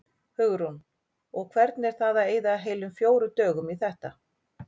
Hugrún: Og hvernig er það að eyða heilum fjórum dögum í þetta?